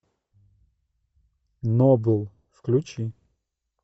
нобл включи